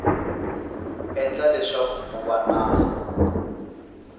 endla leswaku ku va na